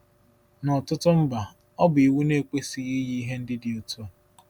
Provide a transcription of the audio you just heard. N’ọ̀tụtụ mba, ọ bụ iwu na-ekwesịghị iyi ihe ndị dị otu a.